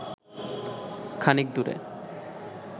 খানিক দূরে